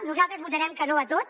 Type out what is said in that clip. nosaltres votarem que no a tot